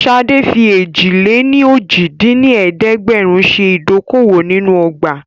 Ṣadé fi èjì-lé-ní-ojì dín ní ẹ̀ẹ́dẹ́gbẹ́rún ṣe ìdókòwò nínú ọgbà